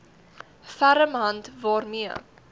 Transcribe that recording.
ferm hand waarmee